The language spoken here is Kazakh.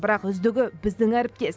бірақ үздігі біздің әріптес